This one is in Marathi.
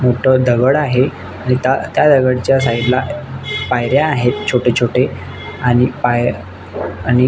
मोठ दगड आहे आणि त्या दगडच्या साइड ला पायऱ्या आहेत छोटे छोटे आणि पा य आणि--